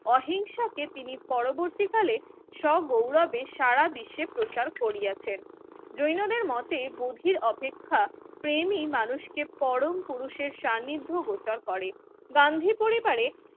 অহিংসাকে তিনি পরবর্তীকালে সগৌরবে সারাবিশ্বে প্রচার করিয়াছেন। জৈন দের মতে বধির অপেক্ষা প্রেমই মানুষকে পরম পুরুষের স্বানিধ্য গোচর করে গান্ধি পরিবারে